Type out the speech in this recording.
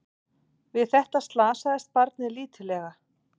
Við þetta slasaðist barnið lítillega